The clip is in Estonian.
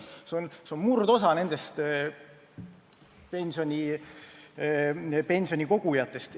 See on murdosa pensionikogujatest.